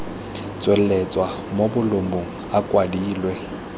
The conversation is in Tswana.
tsweletswa mo bolumong a kwadilwe